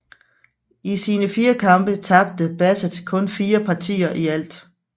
I sine fire kampe tabte Bassett kun fire partier i alt